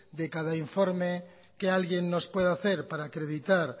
de cada informe que alguien nos puede hacer para acreditar